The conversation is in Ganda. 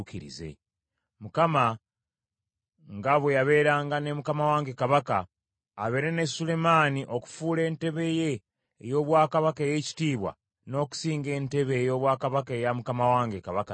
Mukama nga bwe yabeeranga ne mukama wange kabaka, abeere ne Sulemaani okufuula entebe ye ey’obwakabaka ey’ekitiibwa n’okusinga entebe ey’obwakabaka eya mukama wange Kabaka Dawudi!”